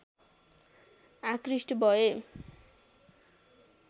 आकृष्ट भए